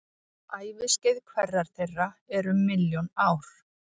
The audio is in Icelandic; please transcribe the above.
Æviskeið hverrar þeirra er um milljón ár.